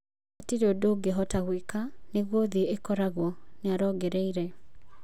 " Hatirĩ ũndũ ũngĩhota gwĩka, nĩguo thĩ ĩkoragwo," nĩarongereire.